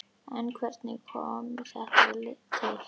En hvernig kom þetta til?